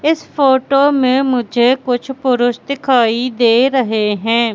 इस फोटो में मुझे कुछ पुरुष दिखाई दे रहे हैं।